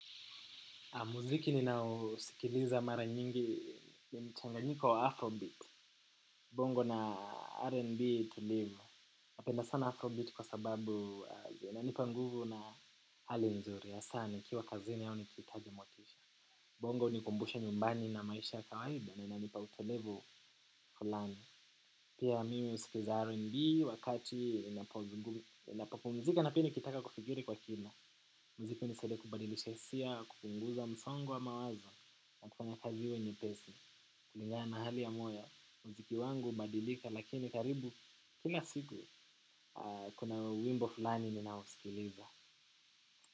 Muziki ninaousikiliza mara nyingi ya mchanganyiko wa Afrobeat. Bongo na R&B tulivu. Napenda sana Afrobeat kwa sababu inanipa nguvu na hali nzuri. Hasa nikiwa kazini au nikihitaji motisha. Bongo hunikumbusha nyumbani na maisha ya kawaida na inanipa utulivu fulani. Pia mimi husikiza R&B wakati ninapopumzika na pia nikitaka kufikiri kwa kina. Muziki hunisaidia kubadilisha hisia kupunguza msongo wa mawazo. Na kufanya kazi iwe nyepesi, kulingana na hali ya moyo, muziki wangu hubadilika, lakini karibu, kila siku, kuna wimbo fulani ninausikiliza.